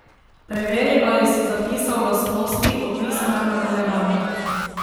Preveri, ali si zapisal lastnosti, opisane v nadaljevanju.